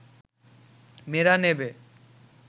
মেয়েরা নেবে